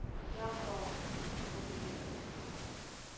взял паузу опрокинул бутылку